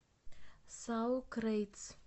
саукрейтс